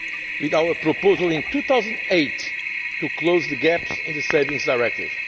now with our proposal in 2008 to close the gaps in the Savings Directive